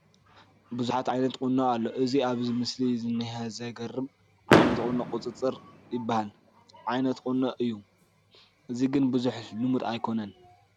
ብዙሓ ዓይነት ቁኖ ኣሎ፡፡ እዚ ኣብዚ ምስሊ ዝኒሀ ዘግርም ዓይነት ቁኖ ቁፅርፅር ዝበሃል ዓይነት ቁኖ እዩ፡፡ እዚ ግን ብዙሕ ልሙድ ኣይኮነን፡፡